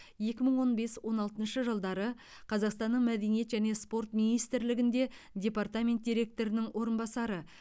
екі мың он бес он алтыншы жылдары қазақстанның мәдениет және спорт министрлігінде департамент директорының орынбасары